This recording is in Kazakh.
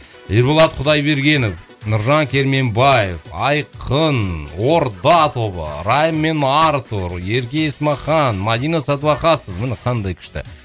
ерболат құдайбергенов нұржан керменбаев айқын орда тобы райым мен артур ерке есмахан мадина садуақасова міне қандай күшті